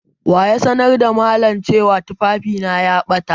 Wa ya sanar da malam cewa littafi na ya ɓata?